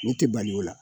Ne tɛ bali o la